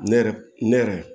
Ne yɛrɛ ne yɛrɛ